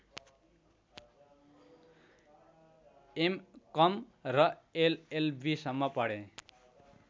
MCom र एलएलबीसम्म पढे